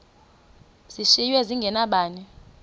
zishiywe zinge nabani